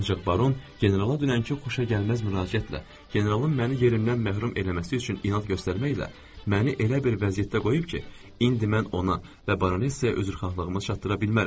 Ancaq baron generala dünənki xoşagəlməz müraciətlə, generalın məni yerimdən məhrum eləməsi üçün inad göstərməklə məni elə bir vəziyyətdə qoyub ki, indi mən ona və baronesaya üzrxahlığımı çatdıra bilmərəm.